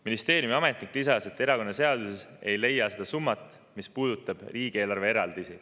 Ministeeriumi ametnik lisas, et erakonnaseadusest ei leia seda summat, mis puudutab riigieelarve eraldisi.